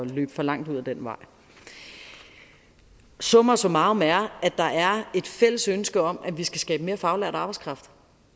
løbe for langt ud ad den vej summa summarum er at der er et fælles ønske om at vi skal skabe mere faglært arbejdskraft